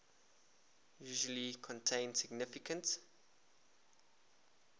usually contain significant